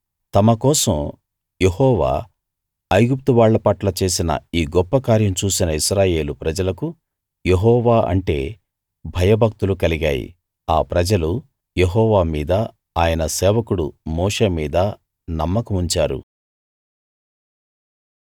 తమ కోసం యెహోవా ఐగుప్తు వాళ్ల పట్ల చేసిన ఈ గొప్ప కార్యం చూసిన ఇశ్రాయేలు ప్రజలకు యెహోవా అంటే భయభక్తులు కలిగాయి ఆ ప్రజలు యెహోవా మీదా ఆయన సేవకుడు మోషే మీదా నమ్మకముంచారు